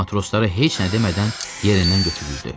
Matroslara heç nə demədən yerindən götürüldü.